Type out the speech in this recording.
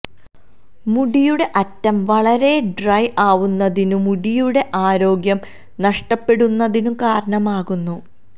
മുടിയുടെ അറ്റം വളരെ ഡ്രൈ ആവുന്നതിനും മുടിയുടെ ആരോഗ്യം നഷ്ടപ്പെടുന്നതിനും കാരണമാകുന്നു